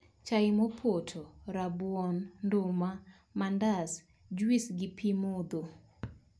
Chai mopoto, rabuon, nduma, mandas, jwis gi pii modho.